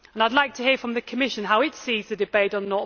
I would like to hear from the Commission how it sees the debate on